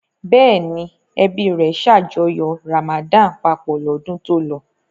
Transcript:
Bẹ́ẹ̀ ni, ẹbí rẹ̀ ṣàjọyọ̀ Ramadan papọ̀ lọ́dún tó lọ.